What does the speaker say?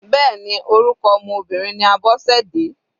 Bẹ́ẹ̀ni orúkọ ọmọ Obìnrin ní Abosede.